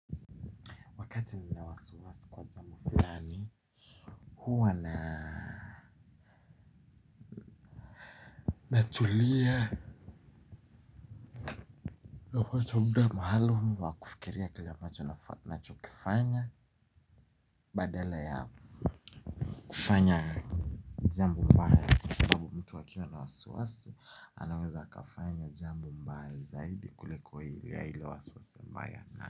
Wakati nina wasi wasi kwa jambo fulani huwa na natulia nafuata myda maalumu wa kufikiria kila ambacho nachokifanya badala ya kufanya jambo baya kwa sababu mtu akiwa na wasiwasi anaweza kufanya jambo baya zaidi kuliko ile ya wasiwasi mbaya.